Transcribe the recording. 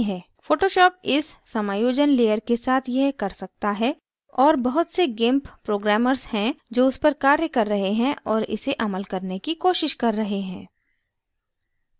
photoshop इस समायोजन layer के साथ यह कर सकता है और बहुत से gimp programmers हैं जो उस पर कार्य कर रहे हैं और इसे अमल करने की कोशिश कर रहे हैं